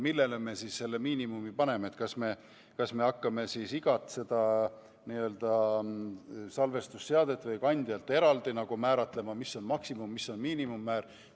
Küsimus on selles, millele me miinimumi paneme – kas me hakkame igat salvestusseadet või andmekandjat eraldi määratlema, mis on maksimum- või mis on miinimummäär.